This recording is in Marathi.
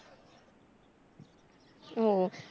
हो